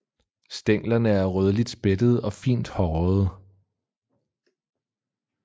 Stænglerne er rødligt spættede og fint hårede